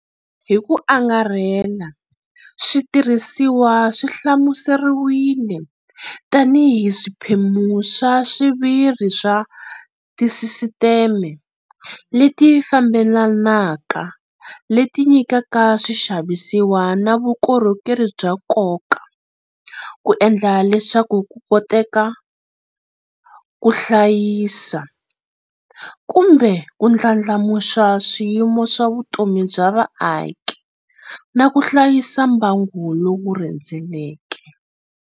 Hi ku angarhela, switirhisiwa swi hlamuseriwile tanihi "swiphemu swa xiviri swa tisisiteme leti fambelanaka leti nyikaka swixavisiwa na vukorhokeri bya nkoka ku endla leswaku ku koteka, ku hlayisa, kumbe ku ndlandlamuxa swiyimo swa vutomi bya vaaki" na ku hlayisa mbango lowu rhendzeleke.